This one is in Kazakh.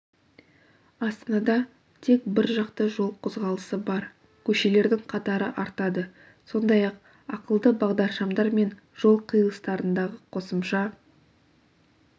астанада тек біржақты жол қозғалысы бар көшелердің қатары артады сондай-ақ ақылды бағдаршамдар мен жол қиылыстарындағы қосымша